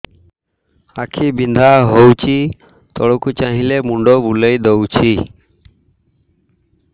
ଆଖି ବିନ୍ଧା ହଉଚି ତଳକୁ ଚାହିଁଲେ ମୁଣ୍ଡ ବୁଲେଇ ଦଉଛି